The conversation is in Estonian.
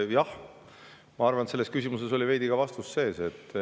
Jah, ma arvan, et selles küsimuses oli veidi ka vastust sees.